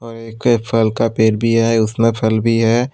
और एक फल का पेड़ भी है उसमें फल भी है।